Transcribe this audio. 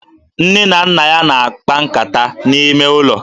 Nne na nna ya na-akpa nkata n'ime ụlọ